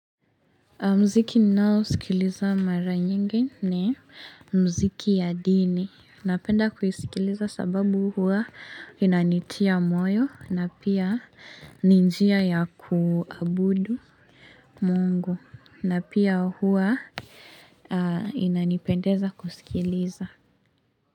Mziki nainao sikiliza mara nyingi ni mziki ya dini. Napenda kuisikiliza sababu huwa inanitia moyo na pia ni njia ya kuabudu Mungu na pia huwa inanipendeza kusikiliza.